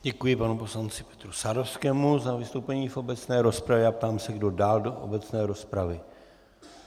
Děkuji panu poslanci Petru Sadovskému za vystoupení v obecné rozpravě a ptám se, kdo dál do obecné rozpravy.